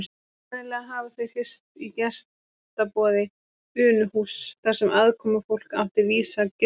Sennilega hafa þeir hist í gestaboði Unuhúss þar sem aðkomufólk átti vísa gistingu.